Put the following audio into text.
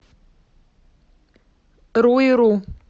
руиру